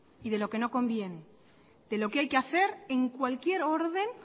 y de lo que no conviene de lo que hay que hacer en cualquier orden